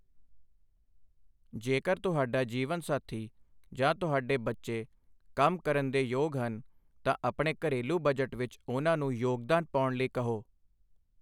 ਜੇਕਰ ਤੁਹਾਡਾ ਜੀਵਨ ਸਾਥੀ ਜਾਂ ਤੁਹਾਡੇ ਬੱਚੇ ਕੰਮ ਕਰਨ ਦੇ ਯੋਗ ਹਨ, ਤਾਂ ਆਪਣੇ ਘਰੇਲੂ ਬਜਟ ਵਿੱਚ ਉਹਨਾਂ ਨੂੰ ਯੋਗਦਾਨ ਪਾਉਣ ਲਈ ਕਹੋ।